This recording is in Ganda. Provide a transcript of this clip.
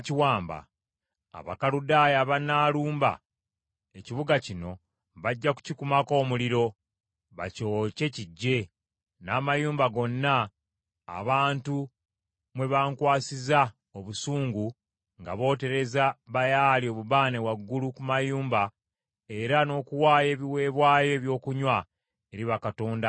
Abakaludaaya abanaalumba ekibuga kino bajja kukikumako omuliro, bakyokye kiggye, n’amayumba gonna abantu mwe bankwasiza obusungu nga bootereza Baali obubaane waggulu ku mayumba era n’okuwaayo ebiweebwayo eby’okunywa eri bakatonda abalala.’